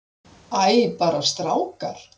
Æ, bara strákar.